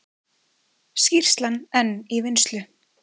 Skýrslan enn í vinnslu